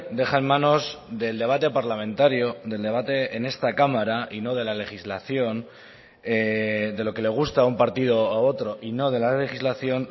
deja en manos del debate parlamentario del debate en esta cámara y no de la legislación de lo que le gusta a un partido a otro y no de la legislación